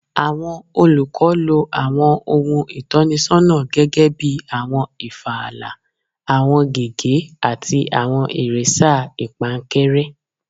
Awọn olukọ lo awọn ohun itọnisọna gẹgẹbi awọn ifààlà, awọn gègé, ati awọn iresa ipankanre